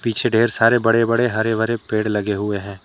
पीछे ढेर सारे बड़े बड़े हरे भरे पेड़ लगे हुए हैं।